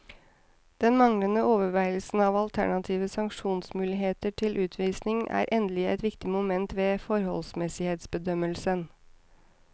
Den manglende overveielse av alternative sanksjonsmuligheter til utvisning er endelig et viktig moment ved forholdsmessighetsbedømmelsen.